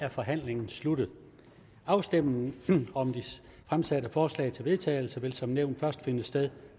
er forhandlingen sluttet afstemningen om de fremsatte forslag til vedtagelse vil som nævnt først finde sted